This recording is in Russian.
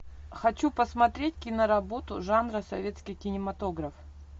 хочу посмотреть киноработу жанра советский кинематограф